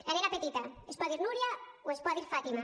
la nena petita es pot dir núria o es pot dir fàtima